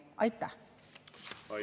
Aitäh!